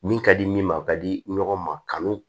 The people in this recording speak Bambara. Min ka di min ma ka di ɲɔgɔn ma kanu